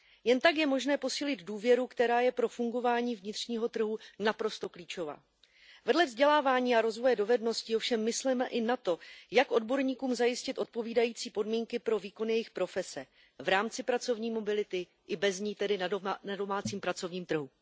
Jen tak je možné posílit důvěru, která je pro fungování vnitřního trhu naprosto klíčová. Vedle vzdělávání a rozvoje dovedností ovšem mysleme i na to, jak odborníkům zajistit odpovídající podmínky pro výkon jejich profese v rámci pracovní mobility i bez ní, tedy na domácím pracovním trhu.